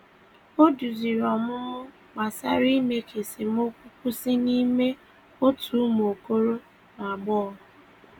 Ọ duzìrì ọmụmụ gbasàrà ime ka esemokwu kwụsị n’ime òtù umu okoro na agbogho.